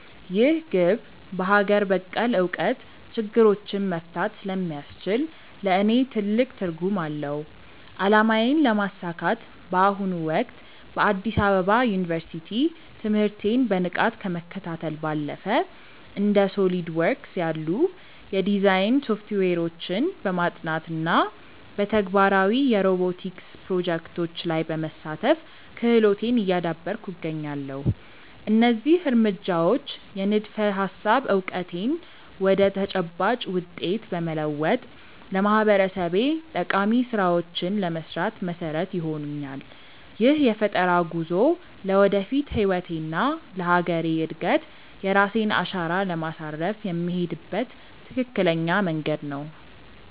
ይህ ግብ በሀገር በቀል እውቀት ችግሮችን መፍታት ስለሚያስችል ለእኔ ትልቅ ትርጉም አለው። አላማዬን ለማሳካት በአሁኑ ወቅት በአዲስ አበባ ዩኒቨርሲቲ ትምህርቴን በንቃት ከመከታተል ባለፈ፣ እንደ SOLIDWORKS ያሉ የዲዛይን ሶፍትዌሮችን በማጥናት እና በተግባራዊ የሮቦቲክስ ፕሮጀክቶች ላይ በመሳተፍ ክህሎቴን እያዳበርኩ እገኛለሁ። እነዚህ እርምጃዎች የንድፈ-ሀሳብ እውቀቴን ወደ ተጨባጭ ውጤት በመለወጥ ለማህበረሰቤ ጠቃሚ ስራዎችን ለመስራት መሰረት ይሆኑኛል። ይህ የፈጠራ ጉዞ ለወደፊት ህይወቴና ለሀገሬ እድገት የራሴን አሻራ ለማሳረፍ የምሄድበት ትክክለኛ መንገድ ነው።